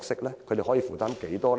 他們可以負擔多少？